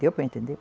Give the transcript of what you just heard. Deu para entender?